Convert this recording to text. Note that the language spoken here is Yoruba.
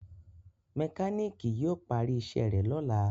mekaniki yíò pari iṣé rẹ lọla